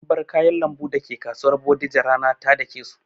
An bar kayan lambu dake kasuwar bodija rana ta dake su